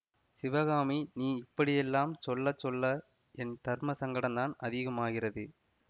சிவகாமி நீ இப்படியெல்லாம் சொல்ல சொல்ல என் தர்ம சங்கடந்தான் அதிகமாகிறது